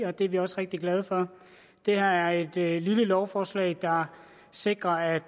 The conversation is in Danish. og det er vi rigtig glade for det her er et lille lovforslag der sikrer at